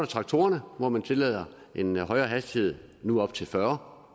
traktorerne hvor man tillader en højere hastighed nu op til fyrre